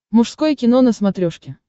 мужское кино на смотрешке